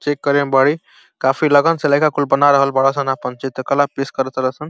Check काफी लगन से लईका कुल बना रहल बाड़ सन आपन चित्रकला पेस कर तार सन।